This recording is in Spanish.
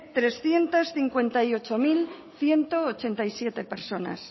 trescientos cincuenta y ocho mil ciento ochenta y siete personas